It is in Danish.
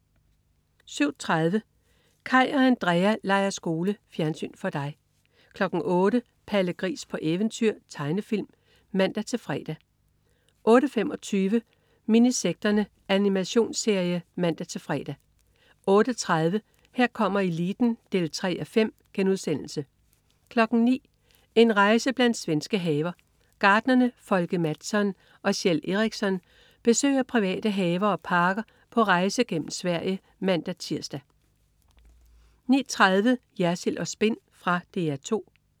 07.30 Kaj og Andrea leger skole. Fjernsyn for dig 08.00 Palle Gris på eventyr. Tegnefilm (man-fre) 08.25 Minisekterne. Animationsserie (man-fre) 08.30 Her kommer eliten 3:5* 09.00 En rejse blandt svenske haver. Gartnerne Folke Mattsson og Kjell Eriksson besøger private haver og parker på rejse gennem Sverige (man-tirs) 09.30 Jersild & Spin. Fra DR 2